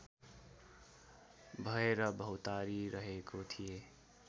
भएर भौँतारिरहेको थिएँ